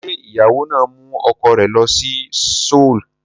Ṣé ìyàwó náà mú ọkọ rẹ̀ lọ sí Seoul?